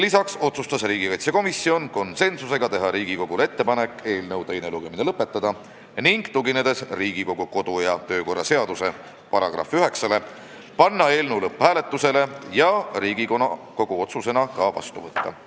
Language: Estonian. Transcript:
Lisaks otsustas komisjon konsensusega teha ettepaneku eelnõu teine lugemine lõpetada ning tuginedes Riigikogu kodu- ja töökorra seaduse §-le 109, panna eelnõu lõpphääletusele ja Riigikogu otsusena vastu võtta.